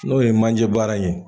N'o ye manje baara in ye